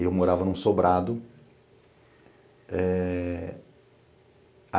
Eu morava num sobrado.